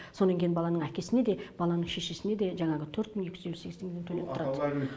сонан кейін баланың әкесіне де баланың шешесіне де жаңағы төрт мың екі жүз елу сегіз теңгеден төлеп тұрады